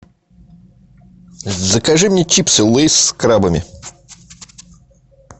закажи мне чипсы лейс с крабами